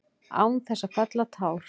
Án þess að fella tár.